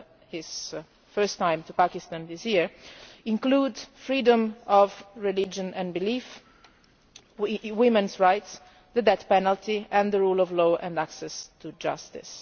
his first ever visit to Pakistan this year include freedom of religion and belief, women's rights, the death penalty and the rule of law and access to justice.